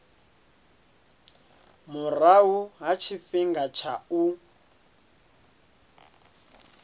murahu ha tshifhinga tsha u